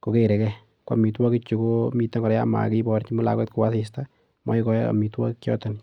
kogerege. Koamitwogichu komiten kora yon makiborchi lakwet kwo asista amakikoi amitwogik choton.